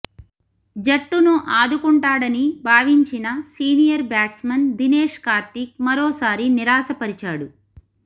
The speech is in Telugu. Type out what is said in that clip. జట్టును ఆదుకుంటాడని భావించిన సీనియర్ బ్యాట్స్మన్ దినేశ్ కార్తీక్ మరోసారి నిరాశ పరిచాడు